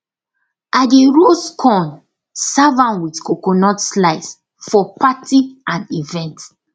i dey roast corn serve am with coconut slice for party and event